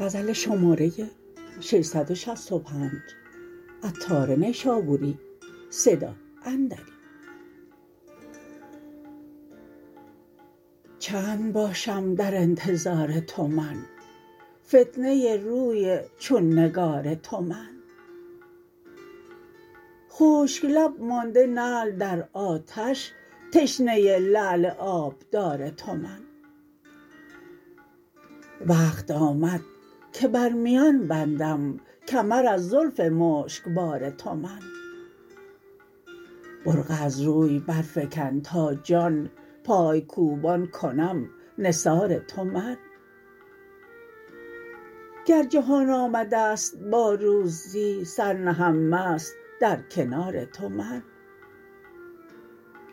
چند باشم در انتظار تو من فتنه روی چون نگار تو من خشک لب مانده نعل در آتش تشنه لعل آبدار تو من وقت آمد که بر میان بندم کمر از زلف مشکبار تو من برقع از روی برفکن تا جان پای کوبان کنم نثار تو من گر جهان آمده است با روزی سر نهم مست در کنار تو من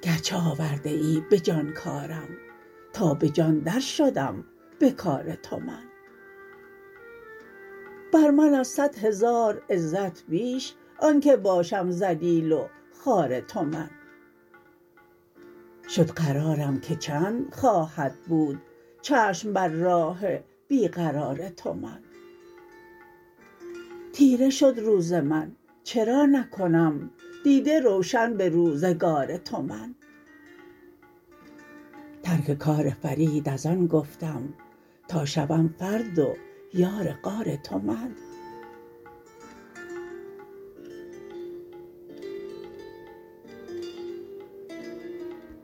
گرچه آورده ای به جان کارم تا به جان در شدم به کار تو من بر من از صد هزار عزت بیش آنکه باشم ذلیل و خوار تو من شد قرارم که چند خواهد بود چشم بر راه بیقرار تو من تیره شد روز من چرا نکنم دیده روشن به روزگار تو من ترک کار فرید از آن گفتم تا شوم فرد و یار غار تو من